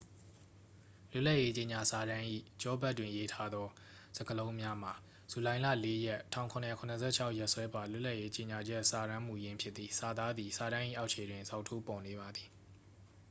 "လွတ်လပ်ရေး ကြေညာစာတမ်း၏ ကျောဘက်တွင် ရေးထားသော စကားလုံးများမှာ "ဇူလိုင်လ ၄ ရက် ၁၇၇၆ ရက်စွဲပါ လွတ်လပ်ရေး ကြေညာချက်စာတမ်းမူရင်း" ဖြစ်သည်။ စာသားသည် စာတမ်း၏ အောက်ခြေတွင် ဇောက်ထိုး ပေါ်နေပါသည်။